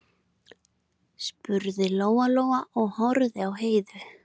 spurði Lóa-Lóa og horfði á Heiðu.